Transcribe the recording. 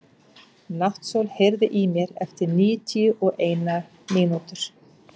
Náttsól, heyrðu í mér eftir níutíu og eina mínútur.